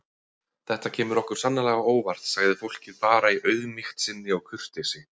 Þetta kemur okkur sannarlega á óvart, sagði fólkið bara í auðmýkt sinni og kurteisi.